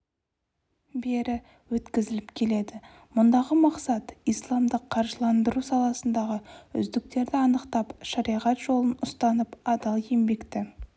бері өткізіліп келеді мұндағы мақсат исламдық қаржыландыру саласындағы үздіктерді анықтап шариғат жолын ұстанып адал еңбекті